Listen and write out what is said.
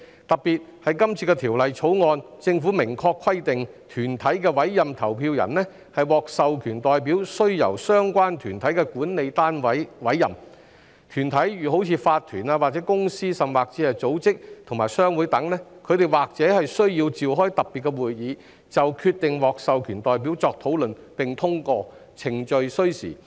特別是政府在今次《條例草案》中明確規定，團體委任投票人為獲授權代表須由相關團體的管理單位委任，團體例如法團、公司或組織及商會等，或須召開特別會議，就決定獲授權代表作討論並通過，程序需時。